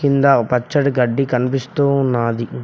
కింద పచ్చని గడ్డి కనిపిస్తూ ఉన్నది.